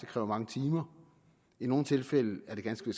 kræver mange timer og i nogle tilfælde er det ganske